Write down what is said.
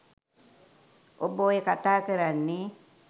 ඔබ ඔය කතා කරන්නේ